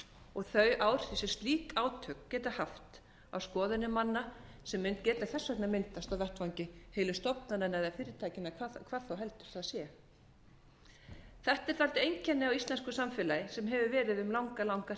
og slík átök geta haft á skoðanir manna sem mun þess vegna geta myndast á vettvangi heilu stofnananna eða fyrirtækjanna hvað þá heldur það sé þetta er dálítið einkenni á íslensku samfélagi sem hefur verið um langa langa